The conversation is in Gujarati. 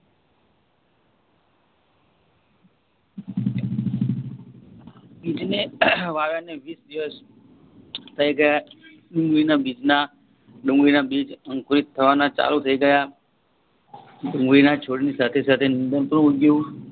બીજને વાવવને વિસ દિવસ થઇ ગયા ડુંગળીના બીજના ડુંગળીના બીજ અંકુરિત થવાના ચાલુ થય ગયા ડુંગળીના છોડની સાથે સાથે નિંદણ પણ ઉગ્યું